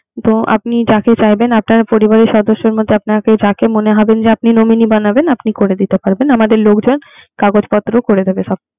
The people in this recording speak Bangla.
তো আপনি যাকে বলবেন, আপনার পরিবারে সদস্যদের মধ্যে আপনার যাকে মনে যে আপনি নমিনি বানাবে আপনি করে দিতে পারবেন। আমাদের লোক যাইয়ে কাগজ পত্র করে দেবে সব